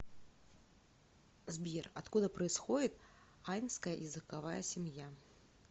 сбер откуда происходит айнская языковая семья